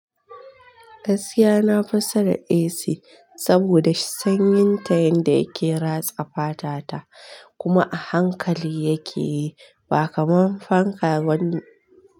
Gaskiya na fi son AC saboda sanyin ta yanda yake ratsa fata ta kuma a hankali yake yi ba kaman fanka bane.